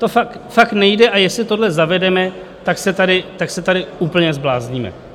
To fakt nejde, a jestli tohle zavedeme, tak se tady úplně zblázníme.